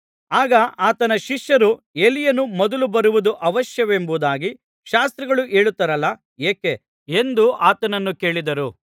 ಆಗ ಆತನ ಶಿಷ್ಯರು ಎಲೀಯನು ಮೊದಲು ಬರುವುದು ಅವಶ್ಯವೆಂಬುದಾಗಿ ಶಾಸ್ತ್ರಿಗಳು ಹೇಳುತ್ತಾರಲ್ಲಾ ಏಕೆ ಎಂದು ಆತನನ್ನು ಕೇಳಿದರು